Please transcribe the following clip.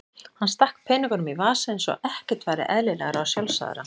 Hann stakk peningunum í vasann eins og ekkert væri eðlilegra og sjálfsagðara.